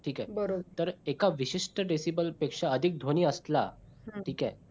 ठीक आहे बरोबर तर एका विशिष्ट decibel पेक्षा अधिक ध्वनी असला. ठीक आहे